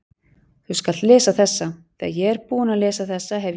Þú skalt lesa þessa, þegar ég er búinn að lesa þessa hef ég